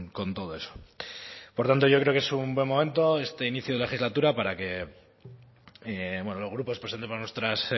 con todo eso por tanto yo creo que es un buen momento este inicio de legislatura para que bueno los grupos presentemos nuestras